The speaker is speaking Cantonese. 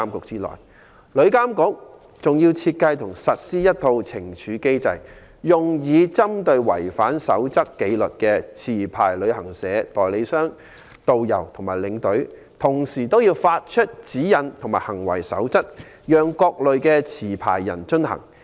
此外，旅監局負責設計和實施一套懲處機制，用以針對違反紀律守則的持牌旅行社、旅行代理商、導遊和領隊，同時要發出指引及行為守則，讓各類持牌人遵行。